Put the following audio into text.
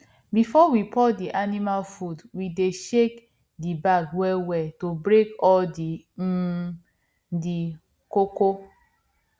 before we pour di animal food we dey shake di bag wellwell to break all um di kpokpo